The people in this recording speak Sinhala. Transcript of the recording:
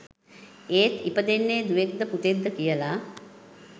ඒත් ඉපදෙන්නේ දුවෙක්ද පුතෙක්ද කියලා